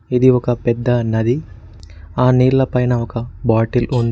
ఇది ఒక పెద్ద నది ఆ నీళ్ల పైన ఒక బాటిల్ ఉంది.